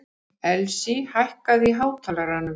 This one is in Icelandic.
Elsí, hækkaðu í hátalaranum.